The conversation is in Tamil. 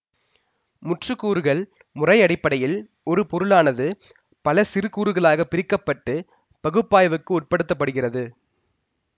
முற்று கூறுகள் முறை அடிப்படையில் ஒரு பொருளானது பல சிறு கூறுகளாக பிரிக்க பட்டு பகுப்பாய்வுக்கு உட்படுத்தப்படுகிறது